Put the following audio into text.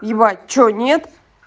ебать что нет